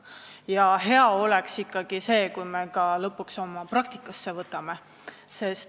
Ja hea oleks see, kui me lõpuks ka asju praktikas kasutusele võtaksime.